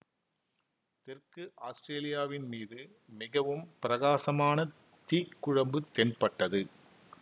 தெற்கு ஆஸ்ட்ரேலியாவின் மீது மிகவும் பிரகாசமான தீக்குழம்பு தென்பட்டது